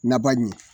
Naba ɲɛ